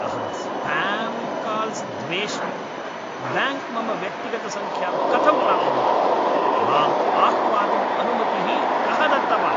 अहं spam calls द्वेष्मि, bank मम व्यक्तिगतसङ्ख्यां कथं प्राप्नोत्, माम् आह्वातुम् अनुमतिः कः दत्तवान्?